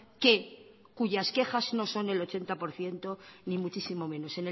que cuyas quejas no son el ochenta por ciento ni muchísimo menos